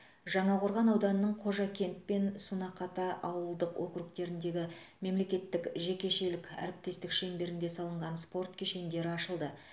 жаңақорған ауданының қожакент пен сунақата ауылдық округтеріндегі мемлекеттік жекешелік әріптестік шеңберінде салынған спорт кешендері ашылды